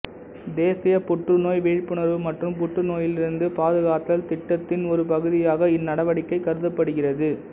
தேசிய புற்றுநோய் விழிப்புணர்வு மற்றும் புற்றுநோயிலிருந்து பாதுகாத்தல் திட்டத்தின் ஒரு பகுதியாக இந்நடவடிக்கை கருதப்படுகிறது